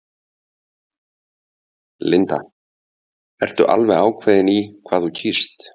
Linda: Ertu alveg ákveðin í hvað þú kýst?